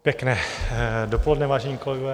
Pěkné dopoledne, vážení kolegové.